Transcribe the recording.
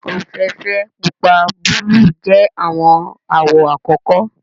ofeefee, pupa, buluu jẹ awọn awọ akọkọ